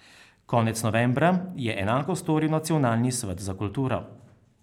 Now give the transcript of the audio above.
Konec novembra je enako storil Nacionalni svet za kulturo.